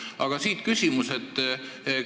Aga siit küsimus.